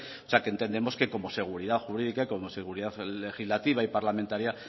o sea que entendemos que como seguridad jurídica y como seguridad legislativa y parlamentaria